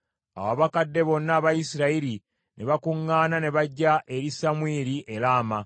Awo abakadde bonna aba Isirayiri ne bakuŋŋaana ne bajja eri Samwiri e Laama,